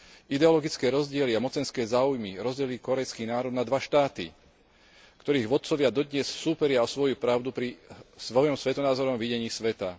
Ideologické rozdiely a mocenské záujmy rozdelili kórejský národ na dva štáty, ktorých vodcovia dodnes súperia o svoju pravdu pri svojom svetonázorovom videní sveta.